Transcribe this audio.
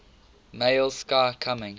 male sky coming